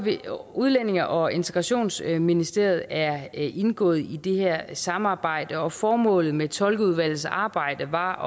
udlændinge og integrationsministeriet er indgået i det her samarbejde formålet med tolkeudvalgets arbejde var